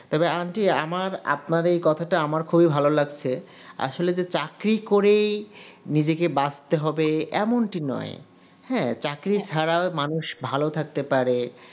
তবে aunty আমার আপনার এই কথাটা আমার খুবই ভালো লাগছে আসলে যে চাকরি করেই নিজেকে বাঁচতে হবে এমনটি নয় হ্যা চাকরি ছাড়াও মানুষ ভালো থাকতে পারে